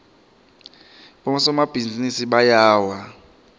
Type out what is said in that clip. bosomabhizinisi bayawa